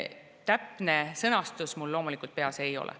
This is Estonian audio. Täpne sõnastus mul loomulikult peas ei ole.